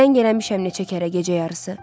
Zəng eləmişəm neçə kərə gecə yarısı.